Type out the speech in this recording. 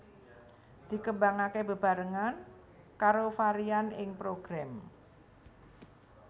Dikembangake bebarengan karo varian ing Program